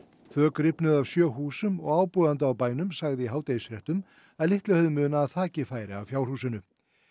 þök rifnuðu af sjö húsum og ábúandi á bænum sagði í hádegisfréttum að litlu hefði munað að þakið færi af fjárhúsinu